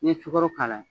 N'i ye sukoro k'a la